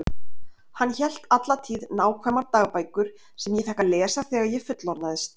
Hann hélt alla tíð nákvæmar dagbækur sem ég fékk að lesa þegar ég fullorðnaðist.